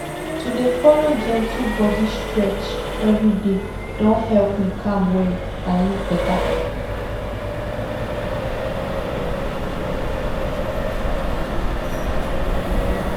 to dey follow gentle body stretch every day don help me calm well and live better